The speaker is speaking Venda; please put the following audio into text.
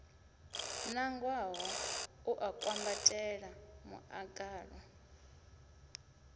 nangwaho u a kwambatela muḽagalu